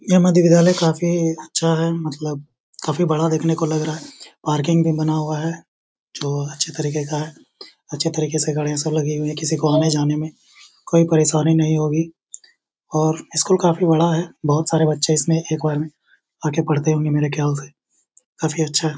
या मध्य विद्यालय काफी अच्छा है मतलब काफी बड़ा देखने को लग रहा हैपार्किंग भी बना हुआ है जो अच्छे तरीके का हैअच्छे तरीके से लगी हुई है किसी को आने जाने में कोई परेशानी नहीं होगी और स्कूल काफी बड़ा हैबोहोत सारे बच्चे इसमें आके पढ़ते होंगे मेरे ख्याल से काफी अच्छा है।